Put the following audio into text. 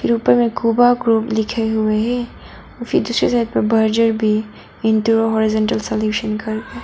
उपर में क़ुबा ग्रुप लिखे हुए है फिर दूसरे साइड पर बर्जर भी इंटरो सलुशन करके--